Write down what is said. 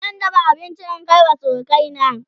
zan dafa abinci in Kai wa surukai na